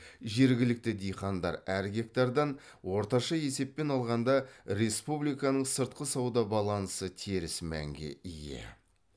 жергілікті диқандар әр гектардан орташа есеппен алғанда республиканың сыртқы сауда балансы теріс мәнге ие